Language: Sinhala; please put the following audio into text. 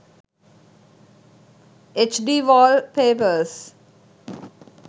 hd wallpapers